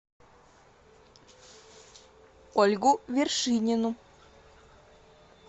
ольгу вершинину